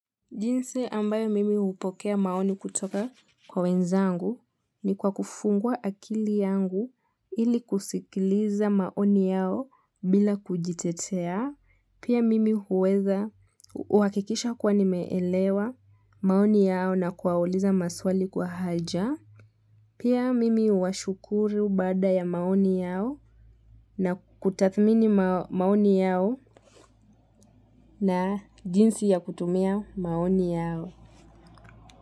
Jinsi ambayo mimi hupokea maoni kutoka kwa wenzangu, ni kwa kufungua akili yangu, ili kusikiliza maoni yao, bila kujitetea, pia mimi huweza kuhakikisha kuwa nimeelewa, maoni yao na kuwauliza maswali kwa haija, pia mimi huwashukuru baada ya maoni yao na kutathmini maoni yao na jinsi ya kutumia maoni yao.